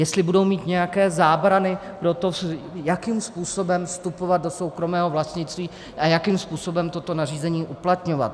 Jestli budou mít nějaké zábrany pro to, jakým způsobem vstupovat do soukromého vlastnictví a jakým způsobem toto nařízení uplatňovat.